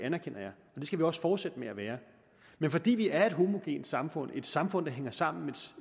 skal vi også fortsætte med at være men fordi vi er et homogent samfund et samfund der hænger sammen